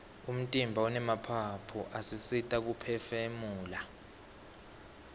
umtimba unemaphaphu asisita kuphefumula